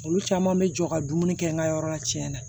Olu caman bɛ jɔ ka dumuni kɛ n ka yɔrɔ la tiɲɛnna